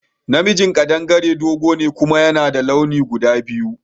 Na mijin kaɗangare dogo ne kuma yana da launi guda biyu